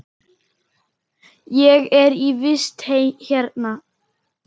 Ég er í vist hérna.